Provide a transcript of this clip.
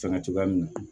Sanga cogoya min na